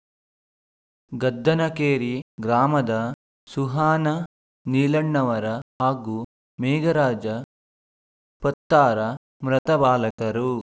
ಗದ್ದನಕೇರಿ ಗ್ರಾಮದ ಸುಹಾನ ನೀಲಣ್ಣವರ ಹಾಗೂ ಮೇಘರಾಜ ಪತ್ತಾರ ಮೃತ ಬಾಲಕರು